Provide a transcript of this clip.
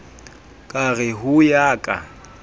ka re ho ya ka